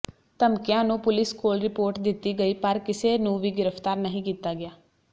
ਧਮਕੀਆਂ ਨੂੰ ਪੁਲਿਸ ਕੋਲ ਰਿਪੋਰਟ ਦਿੱਤੀ ਗਈ ਪਰ ਕਿਸੇ ਨੂੰ ਵੀ ਗ੍ਰਿਫਤਾਰ ਨਹੀਂ ਕੀਤਾ ਗਿਆ